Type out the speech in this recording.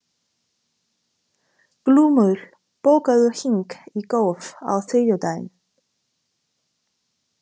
Glúmur, bókaðu hring í golf á þriðjudaginn.